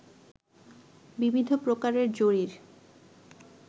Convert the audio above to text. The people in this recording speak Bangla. বিবিধ প্রকারের জরির